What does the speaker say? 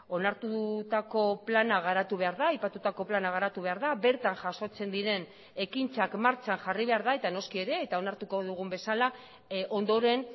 onartutako plana garatu behar da aipatutako plana garatu behar da bertan jasotzen diren ekintzak martxan jarri behar da eta noski ere eta onartuko dugun bezala ondoren